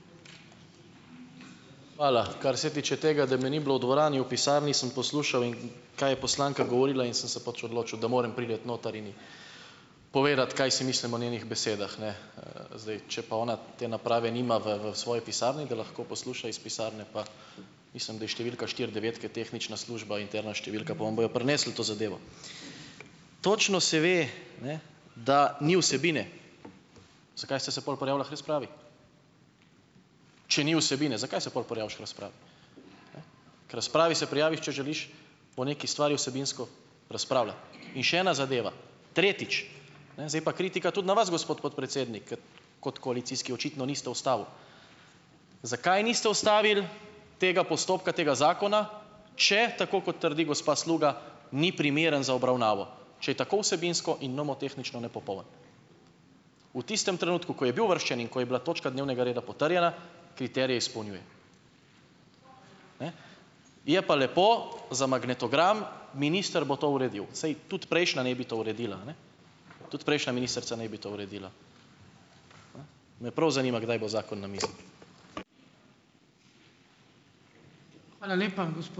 Hvala. Kar se tiče tega, da me ni bilo v dvorani, v pisarni sem poslušal in, kaj je poslanka govorila, in sem se pač odločil, da morem priti noter in povedati, kaj si mislim o njenih besedah, ne. Zdaj, če pa ona te naprave nima v v svoji pisarni, da lahko posluša iz pisarne, pa mislim, da je številka štiri devet, ki je tehnična služba, interna številka, pa vam bojo prinesli to zadevo. Točno se ve, ne, da ni vsebine. Zakaj ste se pol prijavila k razpravi? Če ni vsebine, zakaj se pol prijaviš k razpravi? K razpravi se prijaviš, če želiš o neki stvari vsebinsko razpravljati. In še ena zadeva, tretjič. Ne, zdaj je pa kritika tudi na gospod podpredsednik, ker kot koalicijski očitno niste ustavil. Zakaj niste ustavili tega postopka tega zakona, če, tako kot trdi gospa Sluga, ni primeren za obravnavo, če je tako vsebinsko in nomotehnično nepopoln? V tistem trenutku, ko je bil uvrščen in ko je bila točka dnevnega reda potrjena, kriterije izpolnjuje. Je pa lepo za magnetogram: Minister bo to uredil. Saj tudi prejšnja naj bi to uredila, ne, tudi prejšnja ministrica naj bi to uredila. Me prav zanima, kdaj bo zakon na mizi.